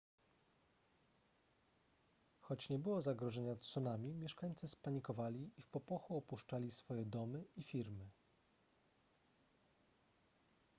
choć nie było zagrożenia tsunami mieszkańcy spanikowali i w popłochu opuszczali swoje domy i firmy